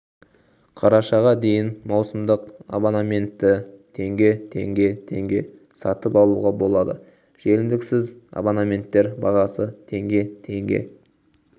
қарашаға дейін маусымдық абонементті тг тг тг сатып алуға болады жеңілдіксіз абонементтер бағасы тг тг